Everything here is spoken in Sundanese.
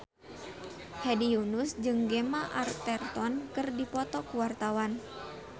Hedi Yunus jeung Gemma Arterton keur dipoto ku wartawan